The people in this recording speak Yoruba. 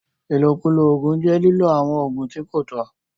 Ìlókùló óogun jẹ́ liló awọn óogun ti ko tọ̀.